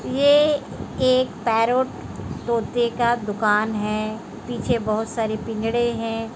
ये एक पेरोट तोते का दुकान है। पीछे बोहोत सारे पिंजड़े हैं।